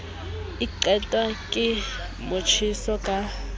e qetwa ke motjheso ka